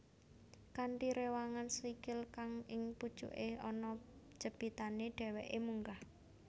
Kanthi réwangan sikil kang ing pucuké ana jepitané dhèwèké munggah